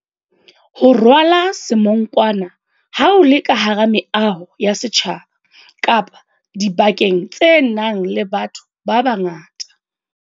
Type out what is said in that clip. Ho rwala semonkwana ha o le ka hara meaho ya setjhaba kapa dibakeng tse nang le batho babangata.